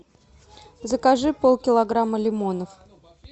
закажи полкилограмма лимонов